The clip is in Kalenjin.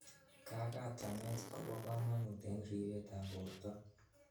Kakatanet, kobo komonut en ripetab borto.